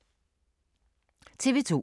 TV 2